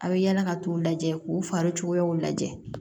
A bɛ yala ka t'u lajɛ k'u fari cogoyaw lajɛ